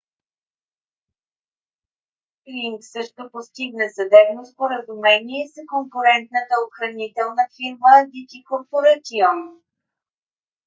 ринг също постигна съдебно споразумение с конкурентната охранителна фирма adt corporation